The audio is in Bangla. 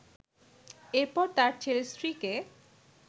এরপর তার ছেলের স্ত্রীকে